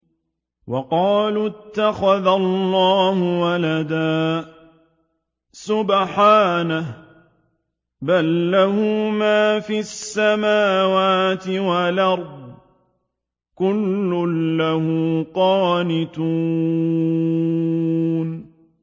وَقَالُوا اتَّخَذَ اللَّهُ وَلَدًا ۗ سُبْحَانَهُ ۖ بَل لَّهُ مَا فِي السَّمَاوَاتِ وَالْأَرْضِ ۖ كُلٌّ لَّهُ قَانِتُونَ